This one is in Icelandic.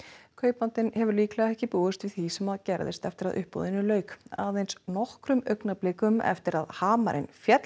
kaupandinn hefur líklega ekki búist við því sem gerðist eftir að uppboðinu lauk aðeins nokkrum augnablikum eftir að hamarinn féll